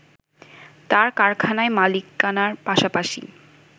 তাঁর কারখানার মালিকানার পাশাপাশি